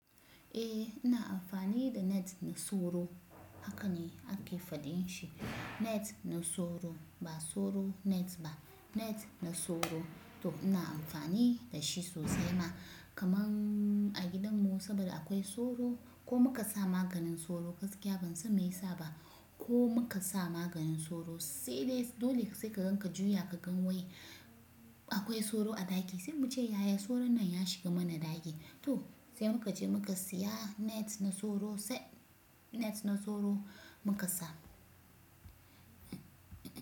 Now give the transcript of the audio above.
Eh ina amfani da net na soro. Haka ne ake faɗin shi, net na soro ba soro net ba net na soro. To ina amfani da shi sosai ma kaman a gidanmu saboda akwai soro ko muka sa maganin soro gaskiya ban san me yasa ba ko muka sa maganin soro sai dai dole sai ka ganka juya ka gan wai akwai soro a ɗaki sai mu ce yaya soro nan ya shiga mana ɗaki. To sai muka je muka siya net na soro sai net na soro muka sa.